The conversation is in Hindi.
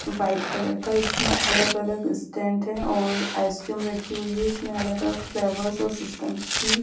वाइट कलर का इसमें अलग-अलग स्टैंड है और आइसक्रीम रखी हुई। इसमें अलग-अलग फ्लेवर और सिस्टम की--